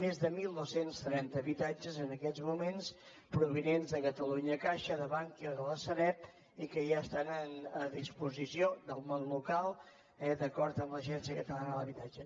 més de dotze trenta habitatges en aquests moments provinents de catalunya caixa de bankia o de la sareb i que ja estan a disposició del món local eh d’acord amb l’agència catalana de l’habitatge